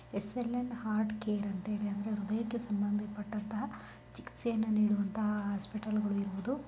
S_ L_ N heart care ಅಂತ ಹೇಳಿ ಅಂದ್ರೆ ಹೃದಯಕ್ಕೆ ಸಂಬಂಧಪಟ್ಟಂತಹ ಚಿಕಿತ್ಸೆಗಳನ್ನ ನೀಡುವಂತಹ ಹಾಸ್ಪಿಟಲ್ ಗಳಿರುವುದು .